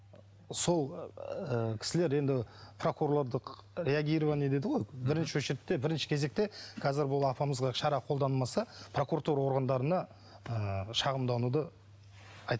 сол ы кісілер енді прокурорлық реагирование дейді ғой бірінші очередьте бірінші кезекте қазір бұл апамызға шара қолданылмаса прокуратура органдарына ы шағымдануды